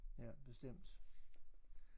Ja bestemt